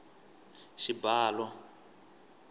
xibalo